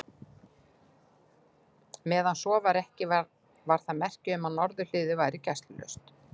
Meðan svo var ekki, var það merki um, að norðurhliðið væri gæslulaust.